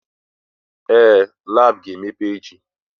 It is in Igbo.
Ee! Lab ga-emepe echi.